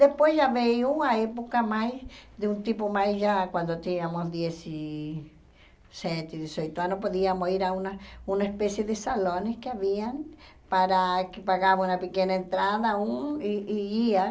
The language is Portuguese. Depois já veio uma época mais, de um tipo mais já, quando tínhamos dezessete, dezoito anos, podíamos ir a uma uma espécie de salões que haviam, para que pagavam uma pequena entrada, um, e e ia.